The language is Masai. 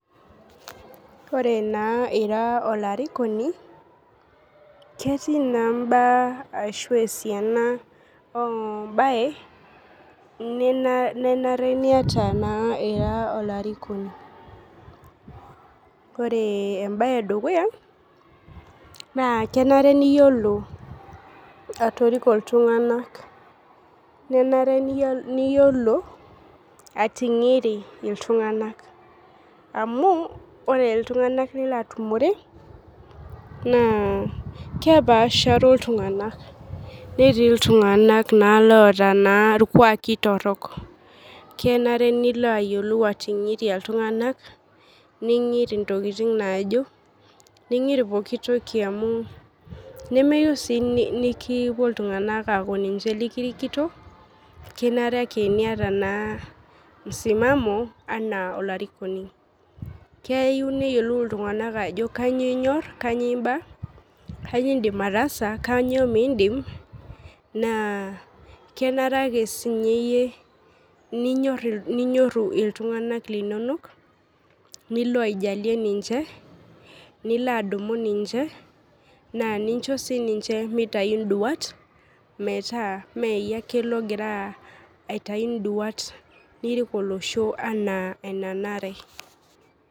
Ore naa ira olarikoni ketii naa imbaa ashu esiana oh mbaye nenare niata naa ira olarikoni ore embaye edukuya naa kenare niyiolo atoriko iltung'anak nenare niyiolo ating'iri iltung'anak amu ore iltung'anak lilo atumore naa kepasharo iltung'anak netii iltung'anak naa loota naa irkuaki torrok kenare nilo ayiolou ating'iria iltung'anak ning'iri intokiting naajo ning'iri pokitoki amu nemeyieu sii niki nikipuo iltung'anak aaku ninche likirikito kenare ake niata naa msimamo anaa olarikoni keiu neyiolou iltung'anak ajo kanyio inyorr kanyio imba kanyio indim ataasa kanyio mindim naa kenare ake sinye iyie ninyorr ninyorru iltung'anak linonok nilo aijalie ninche nilo adumu ninche naa ninche sininche mitayu induat metaa mee iyie ake logira aitai induat nirik olosho anaa enanare.